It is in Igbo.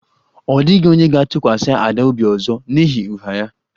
Ọ dịghị onye ga-atụkwasị Ada obi ọzọ n'ihi ụgha ya